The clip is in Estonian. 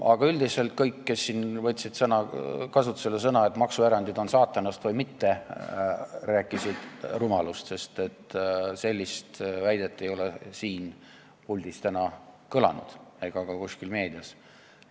Aga üldiselt kõik, kes siin võtsid kasutusele sõnad, et maksuerandid on saatanast või mitte, rääkisid rumalust, sest sellist väidet ei ole siin puldis täna kõlanud ega ka kuskil meedias.